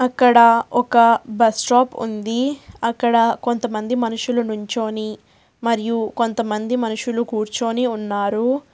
ఇక్కడ ఒక bus stop ఉంది అక్కడ కొంతమంది మనుషులు నుంచొని మరియు కొంతమంది మనుషులు కూర్చొని ఉన్నారు.